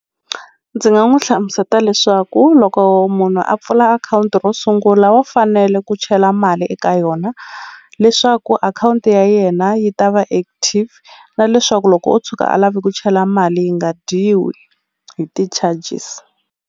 Ndzi nga n'wu hlamuseta leswaku loko munhu a pfula akhawunti ro sungula wa fanele ku chela mali eka yona leswaku akhawunti ya yena yi ta va active na leswaku loko o tshuka a lave ku chela mali yi nga dyiwi hi ti-charges.